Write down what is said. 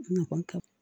N kɔni ka